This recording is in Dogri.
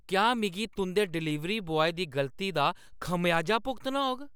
क्या में तुंʼदे डलीवरी बॉय दी गलती दा खमेआजा भुगतना होग?